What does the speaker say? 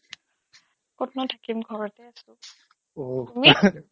ক'তনো থাকিম ঘৰতে আছোঁ তুমি